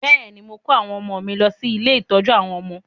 Bẹ́ẹ̀ ni, mò ń kó àwọn ọmọ mi lọ sí ilé-ìtọ́jú àwọn ọmọ